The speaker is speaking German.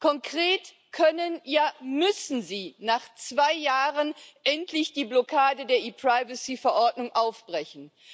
Konkret können, ja, müssen Sie nach zwei Jahren endlich die Blockade der E Privacy Verordnung aufbrechen.